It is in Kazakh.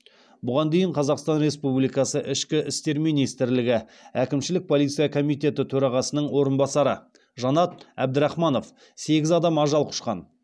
бұған дейін қазақстан республикасы ішкі істер министрлігі әкімшілік полиция комитеті төрағасының орынбасары жанат әбдірахманов сегіз адам ажал құшқан